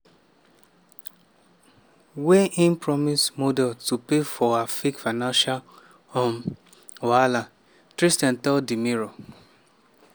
wey im promise model to pay for her fake financial um wahala" tristan tell di mirror.